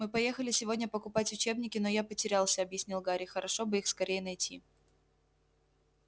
мы поехали сегодня покупать учебники но я потерялся объяснил гарри хорошо бы их скорее найти